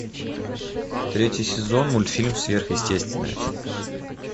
третий сезон мультфильм сверхъестественное